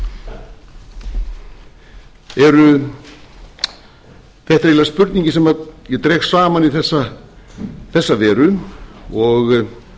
eiginlega spurningin sem ég dreg saman í þessa veru og